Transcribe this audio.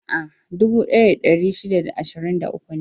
A'a, dubu ɗaya da ɗari shida da ashirin da uku ne.